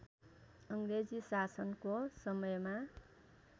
अङ्ग्रेजी शासनको समयमा